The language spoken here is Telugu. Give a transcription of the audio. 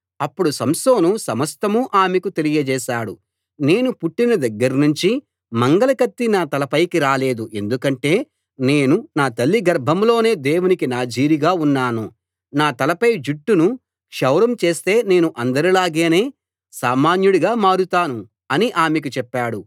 అప్పుడు సంసోను సమస్తం ఆమెకు తెలియచేశాడు నేను పుట్టిన దగ్గర్నుంచి మంగలి కత్తి నా తలపైకి రాలేదు ఎందుకంటే నేను నా తల్లి గర్భంలోనే దేవునికి నాజీరుగా ఉన్నాను నా తలపై జుట్టును క్షౌరం చేస్తే నేను అందరిలాగానే సామాన్యుడిగా మారతాను అని ఆమెకు చెప్పాడు